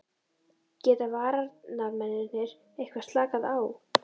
Geta varnarmennirnir eitthvað slakað á?